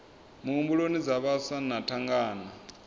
muhumbuloni dza vhaswa na thangana